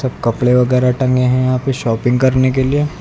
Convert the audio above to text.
सब कपड़े वगैरह टंगे हुए हैं यहां पे शॉपिंग करने के लिए।